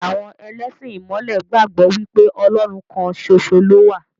Àwọn ẹlẹ́sìn ìmọ̀le gbàgbọ́ wípé Ọlọ́run kan ṣoṣo lowa.